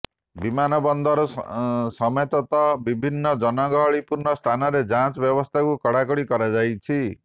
ବିମାନ ବନ୍ଦର ସମେତତ ବଭିନ୍ନ ଜନଗହଳିପୂର୍ଣ୍ଣ ସ୍ଥାନରେ ଯାଞ୍ଚ ବ୍ୟବସ୍ଥାକୁ କଡା କଡି କରାଯାଇଛି